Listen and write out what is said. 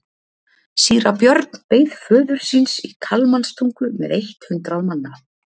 Síra Björn beið föður síns í Kalmanstungu með eitt hundrað manna.